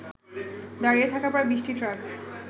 দাঁড়িয়ে থাকা প্রায় ২০টি ট্রাক